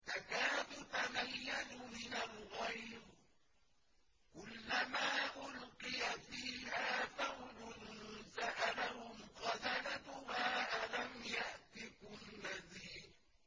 تَكَادُ تَمَيَّزُ مِنَ الْغَيْظِ ۖ كُلَّمَا أُلْقِيَ فِيهَا فَوْجٌ سَأَلَهُمْ خَزَنَتُهَا أَلَمْ يَأْتِكُمْ نَذِيرٌ